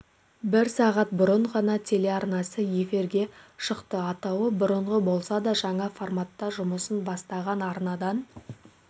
бір сағат бұрын ғана телеарнасы эфирге шықты атауы бұрынғы болса да жаңа форматта жұмысын бастаған арнадан